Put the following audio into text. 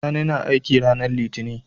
Sani na aiki ranar litinin